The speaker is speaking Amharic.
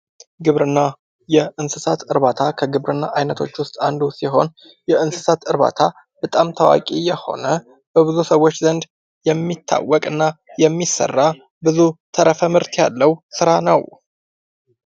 ግብርና:-የእንስሳት እርባታ ከግብርና አይነቶች ውስጥ አንዱ ሲሆን የእንስሳት እርባታ በጣም ታዋቂ የሆነ በብዙ ሰዎች ዘንድ የሚታወቅና የሚሰራ ብዙ ተረፈ ምርት ያለው ስራ ነው።